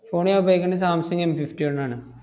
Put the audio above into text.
phone ണ് ഞാൻ ഉപയോഗിക്കുന്നെ സാംസങ് എം ഫിഫ്റ്റി വൺ ആണ്.